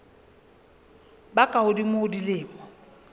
ba ka hodimo ho dilemo